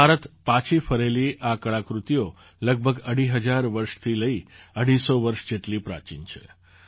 ભારત પાછી ફરેલી આ કળાકૃતિઓ લગભગ અઢી હજાર વર્ષથી લઈ અઢીસો વર્ષ જેટલી પ્રાચીન છે